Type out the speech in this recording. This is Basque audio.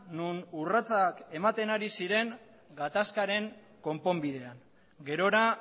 non urratsak ematen ari ziren gatazkaren konponbidean gerora